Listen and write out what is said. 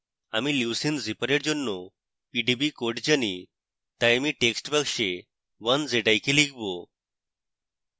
আমি leucine zipper এর জন্য pdb code জানি তাই আমি text box 1zik লিখব